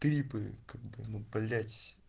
клипы как бы ну блять